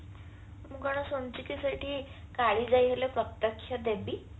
ମୁଁ କଣ ଶୁଣିଛି କି ସେଇଠି କାଳିଜାଇ ହେଲେ ପ୍ରତ୍ୟକ୍ଷ ଦେବୀ